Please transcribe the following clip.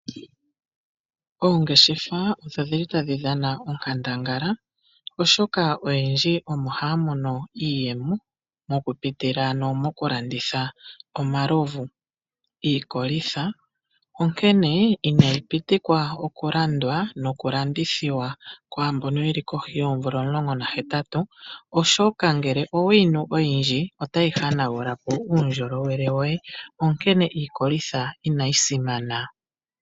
Oongeshefa odho dhi li tadhi dhana onkandangala, oshoka oyendji omo haya mono iiyemo okupitila mokulanditha omalovu, iikolitha. Onkene inayi pitikwa okulandwa nokulandithwa kwaa mbono ye li kohi dhoomvula omulongo nahetatu, oshoka ngele owe yi nu oyindji otayi hanagula po uundjolowele woye, onkene iikolitha inayi simana.